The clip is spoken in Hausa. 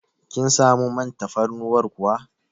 Kin samu man tafarnuwar kuwa?